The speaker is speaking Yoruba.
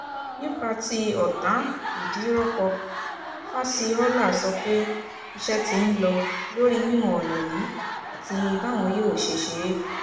nípa tí ọ̀tá-ìdírọ́kọ fásihólà sọ pé iṣẹ́ ti ń lọ lórí wíwọ̀n ọ̀nà yìí àti báwọn yóò ṣe ṣe é